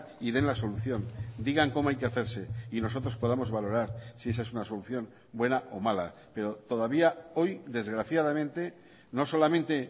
y den la solución digan cómo hay que hacerse y nosotros podamos valorar si esa es una solución buena o mala pero todavía hoy desgraciadamente no solamente